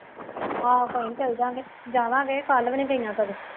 ਹਾਂ ਭਾਈ ਚੱਲ ਜਾਂ ਗੇ, ਜਾਵਾਂਗੇ ਕੱਲ੍ਹ ਵੀ ਨਹੀਂ ਗਈਆਂ ਸਗੋਂ